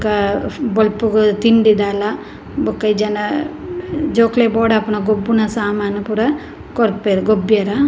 ಬೊಕ ಬೊಲ್ಪುಗು ತಿಂಡಿ ದಾಲ ಬೊಕ ಇಜ್ಜಿಂಡ ಜೋಕ್ಲೆಗ್ ಬೋಡಾಪುನ ಗೊಬ್ಬುನ ಸಾಮಾನ್ ಪೂರ ಕೊರ್ಪೆರ್ ಗೊಬ್ಬ್ಯೆರ.